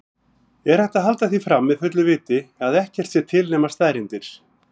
Er hægt að halda því fram með fullu viti að ekkert sé til nema staðreyndir?